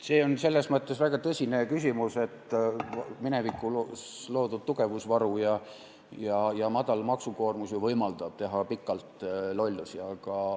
See on selles mõttes väga tõsine küsimus, et minevikus loodud tugevusvaru ja madal maksukoormus ju võimaldavad teha pikalt lollusi.